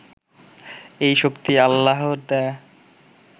এই শক্তি আল্লাহর দেওয়া